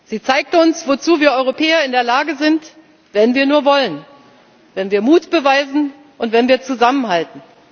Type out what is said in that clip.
Sie zeigt uns, wozu wir Europäer in der Lage sind, wenn wir nur wollen, wenn wir Mut beweisen, und wenn wir zusammenhalten.